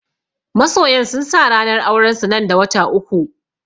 Masoyan sun sa ranar auren su nan da wata uku